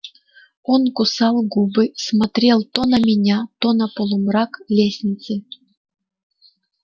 он кусал губы смотрел то на меня то на полумрак лестницы